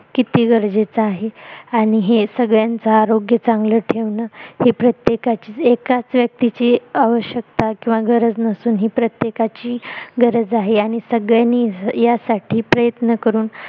किती गरजेचं आहे आणि हे संगळ्यांच आरोग्य चांगल ठेवण हे प्रत्येकाची एकाच व्यक्तीची आवश्यकता किंवा गरज नसून ही प्रत्येकाची गरज आहे आणि सगळ्यांनी यासाठी प्रयत्न करून